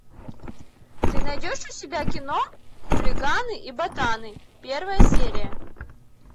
ты найдешь у себя кино хулиганы и ботаны первая серия